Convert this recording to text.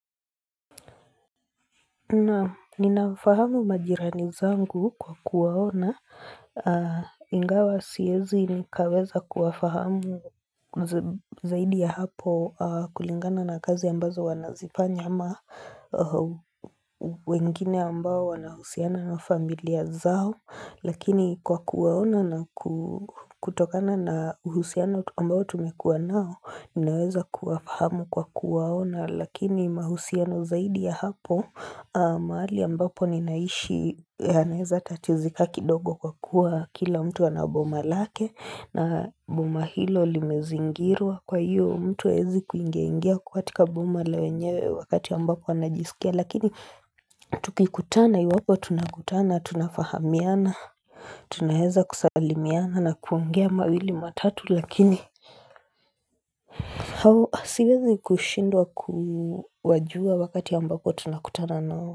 Naam ninafahamu majirani zangu kwa kuwaona. Ingawa siwezi nikaweza kuwafahamu zaidi ya hapo kulingana na kazi ambazo wanazifanya ama wengine ambao wanahusiana na familia zao. Lakini kwa kuwaona na kutokana na uhusiano ambao tumekuwa nao Ninaweza kuwafahamu kwa kuwaona Lakini mahusiano zaidi ya hapo mahali ambapo ninaishi yanaweza tatizika kidogo kwa kuwa kila mtu ana boma lake na mboma hilo limezingirwa kwa hiyo mtu hawezi kuingiaingia kwa katika boma la wenyewe wakati ambapo anajisikia Lakini tukikutana iwapo tunakutana tunafahamiana Tunaweza kusalimiana na kuongea mawili matatu lakini Hawo siwezi kushindwa kuwajua wakati ambapo tunakutana nao.